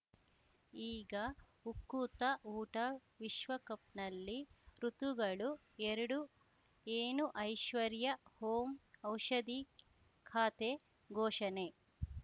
ಈಗ ಉಕುತ ಊಟ ವಿಶ್ವಕಪ್‌ನಲ್ಲಿ ಋತುಗಳು ಎರಡು ಏನು ಐಶ್ವರ್ಯಾ ಓಂ ಔಷಧಿ ಖಾತೆ ಘೋಷಣೆ